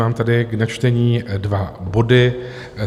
Mám tady k načtení dva body.